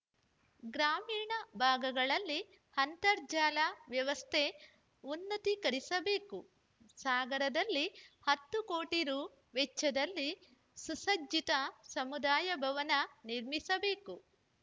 ಗ್ರಾಮೀಣ ಭಾಗಗಳಲ್ಲಿ ಅಂತರ್ಜಾಲ ವ್ಯವಸ್ಥೆ ಉನ್ನತೀಕರಿಸಬೇಕು ಸಾಗರದಲ್ಲಿ ಹತ್ತು ಕೋಟಿ ರು ವೆಚ್ಚದಲ್ಲಿ ಸುಸಜ್ಜಿತ ಸಮುದಾಯ ಭವನ ನಿರ್ಮಿಸಬೇಕು